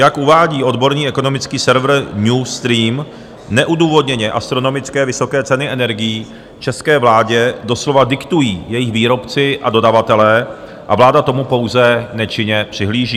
Jak uvádí odborný ekonomický server Newstream, neodůvodněné astronomické vysoké ceny energií české vládě doslova diktují jejich výrobci a dodavatelé a vláda tomu pouze nečinně přihlíží.